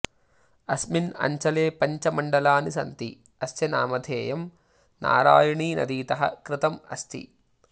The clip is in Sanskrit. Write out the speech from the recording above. अस्मिन् अञ्चले पञ्च मण्डलानि सन्ति अस्य नामध्येयं नारायणी नदीतः कृतं अस्ति